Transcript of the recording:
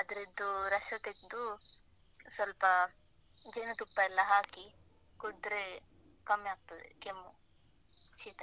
ಅದ್ರದ್ದು ರಸ ತೆಗ್ದು, ಸ್ವಲ್ಪ ಜೇನು ತುಪ್ಪ ಎಲ್ಲ ಹಾಕಿ, ಕುಡ್ದ್ರೆ ಕಮ್ಮಿ ಆಗ್ತದೆ ಕೆಮ್ಮು, ಶೀತ.